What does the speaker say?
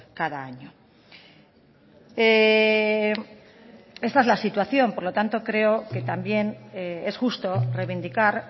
cada año esta es la situación por lo tanto creo que también es justo reivindicar